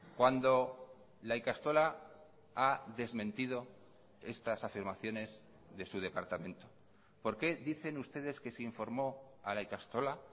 cuando la ikastola ha desmentido estas afirmaciones de su departamento por qué dicen ustedes que se informó a la ikastola